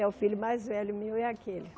É o filho mais velho meu, é aquele.